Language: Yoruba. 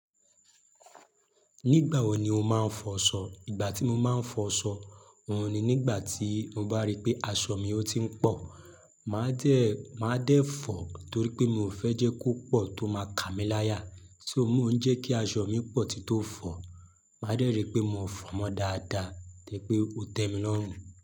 Nígbà wo ni o máa ń fọṣọ? Ìgbà tí mo máa ń fọ aṣọ, òun ni nígbà tí mo bá rí pé aṣọ mi ó ti ń pọ̀. Màá dẹ́, máa dẹ̀ fọ̀ torí pé mi ò fẹ́ jẹ́ kó pọ̀ tó máa ka mí láyà. To ó mi ó ń jẹ́ kí aṣọ mi pọ̀ tì tó fọ̀, máa dẹ́rì pé mo fọ̀ mọ́ dáadáa dẹ̀ pé ó tẹ́ mi lọ́rùn.